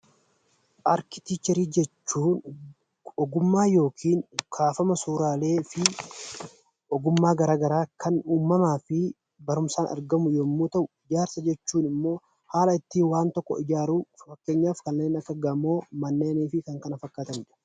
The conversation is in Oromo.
Arkiteekcharii jechuun ogummaa yookiin kaafama suuraalee fi ogummaa garaa garaa kan uumamaa fi barumsaan argamu yommuu ta'u, ijaarsa jechuun immoo haala ittiin waan tokko ijaaruu fakkeenyaaf kanneen akka gamoo, manneenii fi kan kana fakkaatanidha.